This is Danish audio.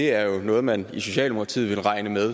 er noget man i socialdemokratiet ville regne med